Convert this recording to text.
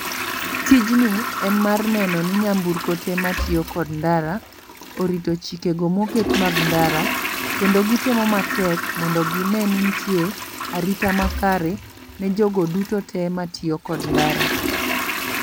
Tijni en mar neno ni nyamburko te matiyo kod ndara, orito chike go moket mag ndara. Kendo gitemo matek mondo gine ni nitie, arita makare ne jogo duto te matiyo kod ndara.